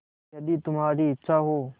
यदि तुम्हारी इच्छा हो